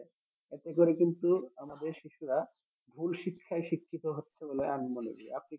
এতে করে কিন্তু আমাদের শিশুরা ভুল শিক্ষায় শিক্ষিত হচ্ছে বলে আমি মনে করি